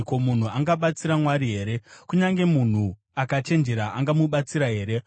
“Ko, munhu angabatsira Mwari here? Kunyange munhu akachenjera angamubatsira here?